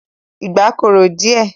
Ìgbá korò díẹ̀.